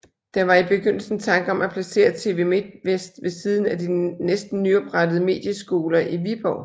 Der var i begyndelsen tanker om at placere TV Midtvest ved siden af de næsten nyoprettede Medieskoler i Viborg